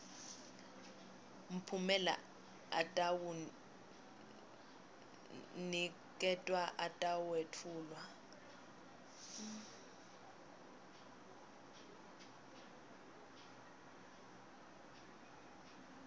mphumela atawuniketwa atawetfulwa